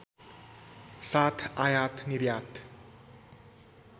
साथ आयात निर्यात